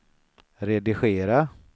redigera